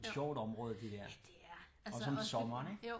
Ja det er altså også for